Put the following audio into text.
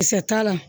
Kisɛ t'a la